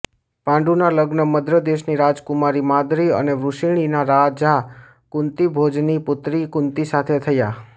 પાંડુના લગ્ન મદ્ર દેશની રાજકુમારી માદ્રી અને વૃશિણીના રાજા કુંતીભોજની પુત્રી કુંતી સાથે થયા